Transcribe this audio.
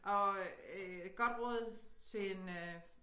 Og øh godt råd til en øh